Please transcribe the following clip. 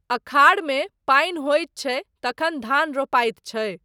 आषाढ़मे पानि होइत छै तखन धान रोपाइत छै।